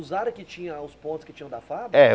Usaram o que tinha os pontos que tinham da fábrica? É